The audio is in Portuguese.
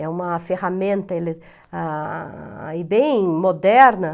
É uma ferramenta ele ah e bem moderna.